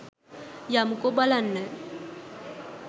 යමුකෝ බලන්න